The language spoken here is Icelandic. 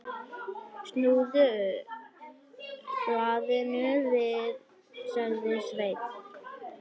Snúðu blaðinu við, sagði Sveinn.